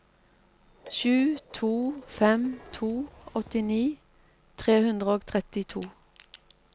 sju to fem to åttini tre hundre og trettito